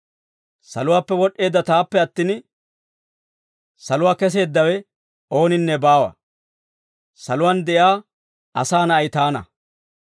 Saluwaappe wod'd'eedda taappe attin, saluwaa keseeddawe ooninne baawa; saluwaan de'iyaa Asaa Na'ay taana.